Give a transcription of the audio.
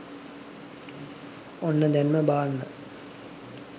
ඔන්න දැන්ම බාන්න